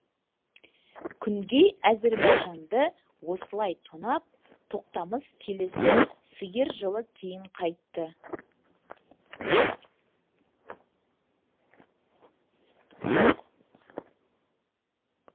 күнгей әзірбайжанды осылай тонап тоқтамыс келесі сиыр жылы кейін қайтты